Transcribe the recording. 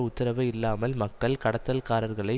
உத்தரவு இல்லாமல் மக்கள் கடத்தல்காரர்களை